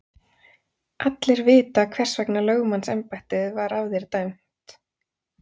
Allir vita hvers vegna lögmannsembættið var af þér dæmt!